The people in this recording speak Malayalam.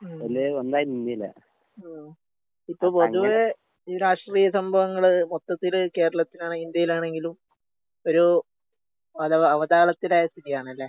ഉം. ഓ ഇപ്പ പൊതുവേ ഈ രാഷ്ട്രീയ സംഭവങ്ങള് മൊത്തത്തില് കേരളത്തിലാണെങ്കിലും ഇന്ത്യയിലാണെങ്കിലും ഒരു അലവ അവതാളത്തിലായ സ്ഥിതിയാണല്ലേ?